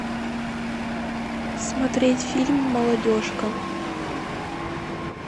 смотреть фильм молодежка